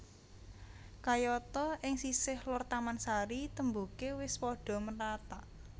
Kayata ing sisih lor taman sari témboké wis padha nrathak